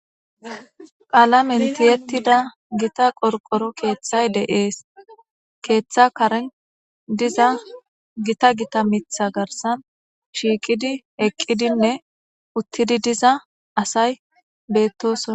qaalamentiyettida gita qorqoro keeththay deees keeththa karen diza gita gita mitha garsan shiiqidi eqqidinne uttidi diza asay bettosona